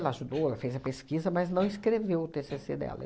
Ela ajudou, ela fez a pesquisa, mas não escreveu o tê cê cê dela.